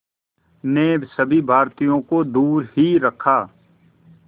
ने सभी भारतीयों को दूर ही रखा